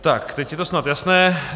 Tak, teď je to snad jasné.